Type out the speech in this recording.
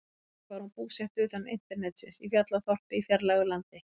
Kannski var hún búsett utan internetsins, í fjallaþorpi í fjarlægu landi.